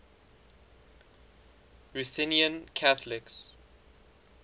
ruthenian catholics